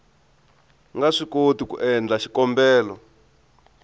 nga swikoti ku endla xikombelo